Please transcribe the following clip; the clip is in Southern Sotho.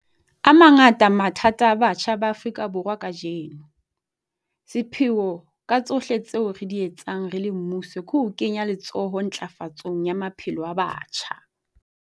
A mangata mathata a batjha ba Afrika Borwa kajeno. Sepheo ka tsohle tseo re di etsang re le mmuso ke ho kenya letsoho ntlafatsong ya maphelo a batjha.